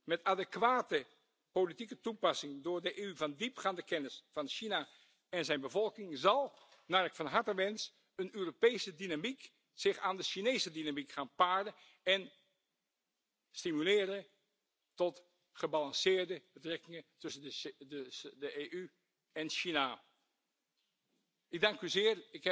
Met adequate politieke toepassing door de EU van diepgaande kennis van China en zijn bevolking zal, naar ik van harte wens, een Europese dynamiek zich aan de Chinese dynamiek gaan paren en gebalanceerde betrekkingen tussen de EU en China stimuleren. Ik dank u zeer.